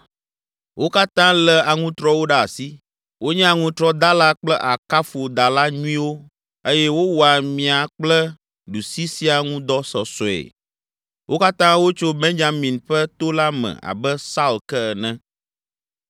Wo katã lé aŋutrɔwo ɖe asi, wonye aŋutrɔdala kple akafodala nyuiwo eye wowɔa mia kple ɖusi siaa ŋu dɔ sɔsɔe. Wo katã wotso Benyamin ƒe to la me abe Saul ke ene.